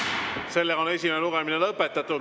Seega on esimene lugemine lõpetatud.